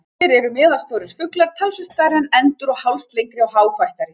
Gæsir eru meðalstórir fuglar, talsvert stærri en endur og hálslengri og háfættari.